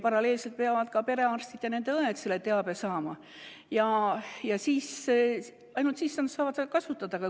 Paralleelselt peavad ka perearstid ja ‑õed selle teabe saama, ainult siis nad saavad seda kasutada.